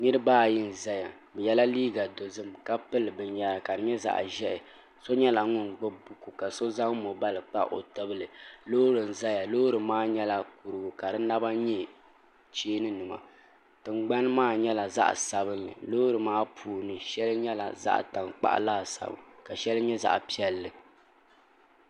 niraba ayi n ʒɛya bi yɛla liiga yinsi ka di nyɛ zaɣ ʒiɛhi so nyɛla ŋun gbubi buku ka so zaŋ moobal kpa o tibili loori n ʒɛya loori maa nyɛla kurigu ka di naba nyɛ cheeni nima tingbani maa nyɛla zaɣ sabinli loori maa puuni shɛli nyɛla zaɣ tankpaɣu laasabu ka shɛli nyɛ zaɣ piɛlli